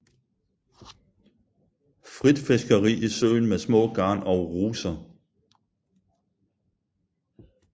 Frit fiskeri i søen med små garn og ruser